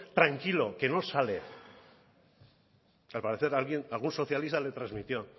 tranquilo que no sale al parecer algún socialista le transmitió